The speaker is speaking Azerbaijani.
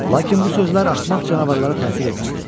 Lakin bu sözlər axmaq canavarlara təsir etmədi.